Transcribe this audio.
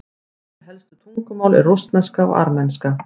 önnur helstu tungumál eru rússneska og armenska